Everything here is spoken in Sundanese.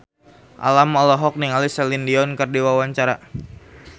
Alam olohok ningali Celine Dion keur diwawancara